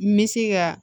N bɛ se ka